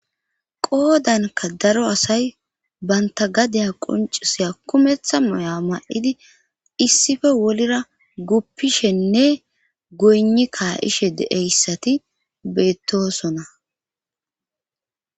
Qoodanka daro asay banta gadaya qoncisiya kumeththa moya ma7idi issife wolra guppishenne goyni kaa7ishe deeyssati beettoosona